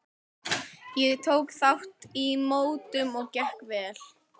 Ég tók þátt í mótum og gekk vel.